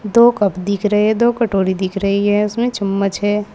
दो कप दिख रहे हैं दो कटोरी दिख रही है उसमें चम्मच है।